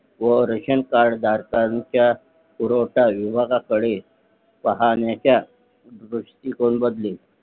व रेशनकार्ड धारकांचा पुरवठा विभागाकडे पाहण्याचा दृष्टिकोन बदलेल